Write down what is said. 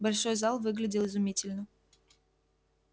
большой зал выглядел изумительно